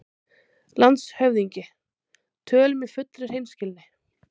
LANDSHÖFÐINGI: Tölum í fullri hreinskilni